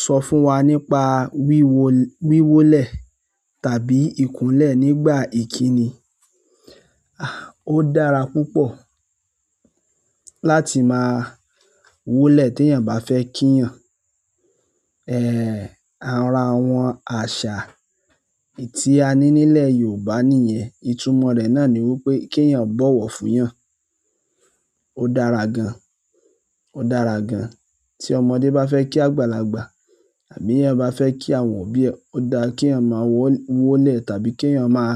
Sọ fún wa nípa wíwólẹ̀ tàbí ìkúnlẹ̀ nígbà ìkíni. Ó dára púpọ̀ láti máa wólẹ̀ tí èèyàn bá fẹ́ kí èèyàn. Ara àwọn àṣà èyí tí a ni nílẹ̀ Yorùbá nìyẹn. Ìtumò rẹ̀ náà ni wípé kí èèyàn bọ̀wọ̀ fún èèyàn. Ó dára gan-an, ó dára gan-an tí ọmọdé bá fẹ́ kí àgbàlagbà àbí èèyàn bá fẹ́ kí àwọn òbí ẹ. Ó dára kí èèyàn máa wólẹ̀ tàbí kí èèyàn máa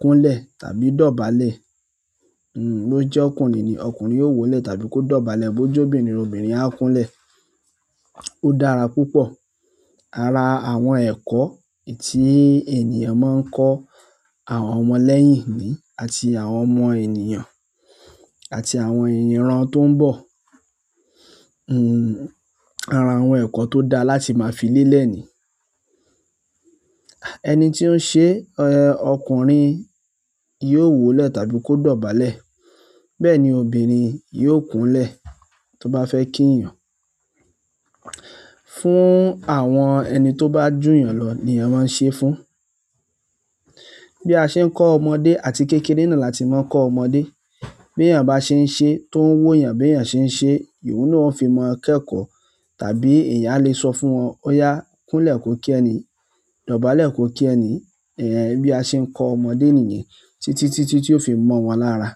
kúnlẹ̀ tàbí dọ̀bálẹ̀. Ló jẹ́ ọkùnrin ni, ọkùnrin yóò wólẹ̀ tàbí kó dọ̀bálẹ̀. Bó jẹ́ obìnrin, obìnrin á kúnlẹ̀. Ó dára púpọ̀. Ara àwọn ẹ̀kọ́ èyí tí ènìyàn máa ń kọ́ àwọn ọmọ lẹ́yìn ni i, àti àwọn ọmọ ènìyàn àti àwọn iràn tó ń bọ̀. Ara àwọn ẹ̀kọ́ tó dáa láti máa fi lélẹ̀ ni. Ẹni tí ó ń ṣe ẹ, ọkùnrin yóò wólẹ̀ tàbí kó dọ̀bálẹ̀. Bẹ́ẹ̀ ni obìnrin yóò kúnlẹ̀ tó bá fẹ́ kí èèyàn. Fún àwọn ẹni tó bá jù ènìyàn lọ ni ènìyàn máa ń ṣe fún. Bí a ṣe ń kọ́ ọmọdé àti kékeré náà láti máa kọ́ ọmọdé. Bí èèyàn bá ṣe ń ṣe, tó ń wò èèyàn bí èèyàn ṣe ń ṣe, ni òun náà ó fi maa kẹkọ. Tàbí èèyàn a lè sọ fún wọn, "Óyá, kúnlẹ̀ kó kí ẹniyii, dọ̀bálẹ̀ kó kí ẹniyii" bí a ṣe ń kọ ọmọdé nì yen títíti tí ó fi mọ̀ wọ́n lára.